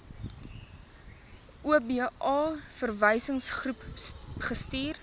oba verwysingsgroep gestuur